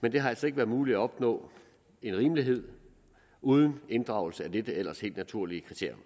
men det har altså ikke været muligt at opnå en rimelighed uden inddragelse af dette ellers helt naturlige kriterium